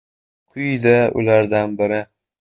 Quyida ulardan biri .